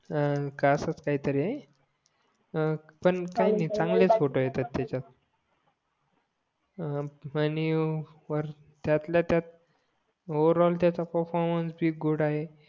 हान का असाच एकही तरी आहे हां पण काही नाही चांगलाच फोटो येतात त्याच्यात हां वर त्यातल्या त्यात ओव्हरऑल त्याचा पेर्फोर्मनाचे भी गुड आहे